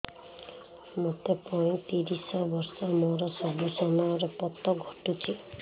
ମୋତେ ପଇଂତିରିଶ ବର୍ଷ ମୋର ସବୁ ସମୟରେ ପତ ଘଟୁଛି